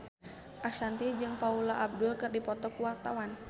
Ashanti jeung Paula Abdul keur dipoto ku wartawan